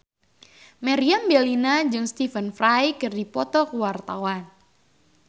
Meriam Bellina jeung Stephen Fry keur dipoto ku wartawan